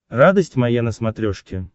радость моя на смотрешке